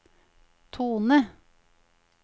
tone